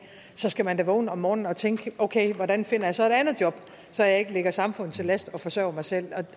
så skal man da vågne om morgenen og tænke okay hvordan finder jeg så et andet job så jeg ikke ligger samfundet til last og forsørger mig selv